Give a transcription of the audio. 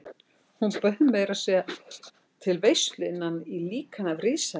Hann bauð meira að segja til veislu innan í líkani af risaeðlu.